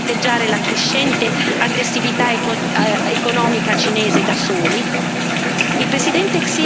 Come possiamo pensare di fronteggiare la crescente aggressività economica cinese da soli?